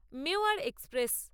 Mewar express